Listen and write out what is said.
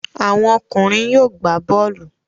Àwọn ọkùnrin yóò gbá bọ́ọ́lù.